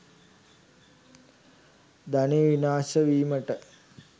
ධනය විනාශ වීමට